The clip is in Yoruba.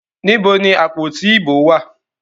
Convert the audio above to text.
Níbo ni àpótí ìbò wá à?